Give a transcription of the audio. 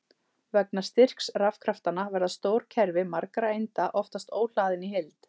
Vegna styrks rafkraftanna verða stór kerfi margra einda oftast óhlaðin í heild.